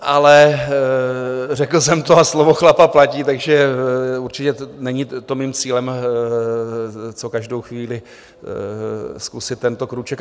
Ale řekl jsem to a slovo chlapa platí, takže určitě není to mým cílem, co každou chvíli zkusit tento krůček.